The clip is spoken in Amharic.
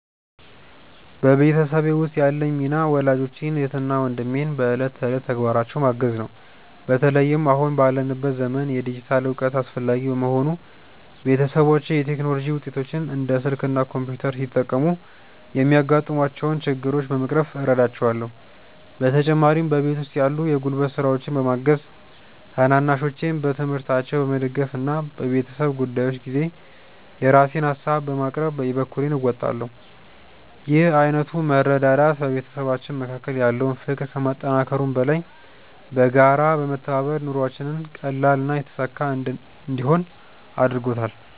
በቤተሰቤ ውስጥ ያለኝ ሚና ወላጆቼን፣ እህትና ወንድሜን በዕለት ተዕለት ተግባራቸው ማገዝ ነው። በተለይም አሁን ባለንበት ዘመን የዲጂታል እውቀት አስፈላጊ በመሆኑ፣ ቤተሰቦቼ የቴክኖሎጂ ውጤቶችን (እንደ ስልክ እና ኮምፒውተር) ሲጠቀሙ የሚያጋጥሟቸውን ችግሮች በመቅረፍ እረዳቸዋለሁ። በተጨማሪም በቤት ውስጥ ያሉ የጉልበት ስራዎችን በማገዝ፣ ታናናሾቼን በትምህርታቸው በመደገፍ እና በቤተሰብ ጉዳዮች ጊዜ የራሴን ሃሳቦችን በማቅረብ የበኩሌን እወጣለሁ። ይህ ዓይነቱ መረዳዳት በቤተሰባችን መካከል ያለውን ፍቅር ከማጠናከሩም በላይ፣ በጋራ በመተባበር ኑሯችንን ቀላልና የተሳካ እንዲሆን አድርጎታል።